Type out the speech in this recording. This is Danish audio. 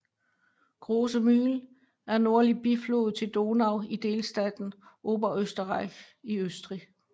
Große Mühl er en nordlig biflod til Donau i delstaten Oberösterreich i Østrig